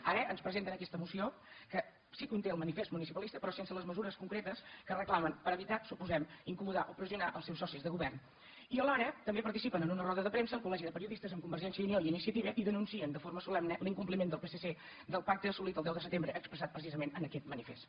ara ens presenten aquesta moció que sí que conté el manifest municipalista però sense les mesures concretes que reclamen per evitar suposem incomodar o pressionar el seus socis de govern i alhora també participen en una roda de premsa al col·legi de periodistes amb convergència i unió i iniciativa i denuncien de forma solemne l’incompliment del psc del pacte assolit el deu de setembre expressat precisament en aquest manifest